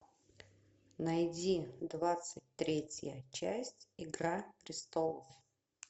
найди двадцать третья часть игра престолов